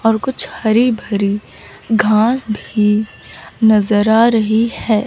और कुछ हरी भरी घास भी नजर आ रही है।